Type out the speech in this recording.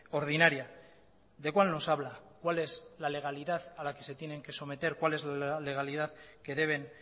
ordinaria de cuál nos habla cuál es la legalidad a la que se tienen que someter cuál es la legalidad que deben